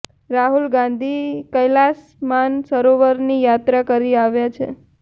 રાહુલ ગાંધી કૈલાસ માન સરોવરની યાત્રા કરી આવ્યા છે